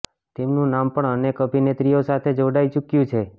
તેમનું નામ પણ અનેક અભિનેત્રીઓ સાથે જોડાઈ ચુક્યું છે